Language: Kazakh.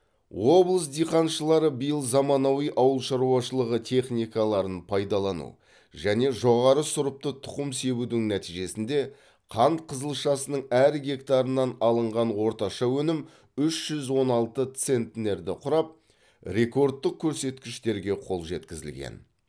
облыс диқаншылары биыл заманауи ауылшаруашылығы техникаларын пайдалану және жоғары сұрыпты тұқым себудің нәтижесінде қант қызылшасының әр гектарынан алынған орташа өнім үш жүз он алты центнерді құрап рекордтық көрсеткішке қол жеткізілген